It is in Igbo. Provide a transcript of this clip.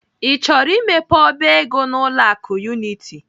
I chọrọ imepe ọba ego n'ụlọ akụ Unity?